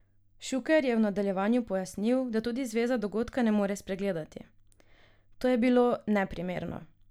Šuker je v nadaljevanju pojasnil, da tudi zveza dogodka ne more spregledati: "To je bilo neprimerno.